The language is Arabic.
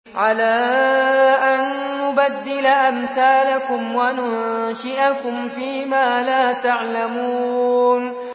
عَلَىٰ أَن نُّبَدِّلَ أَمْثَالَكُمْ وَنُنشِئَكُمْ فِي مَا لَا تَعْلَمُونَ